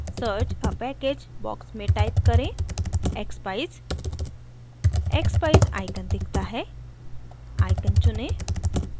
search a package box में type करें: expeyes expeyes icon दिखता है icon चुनें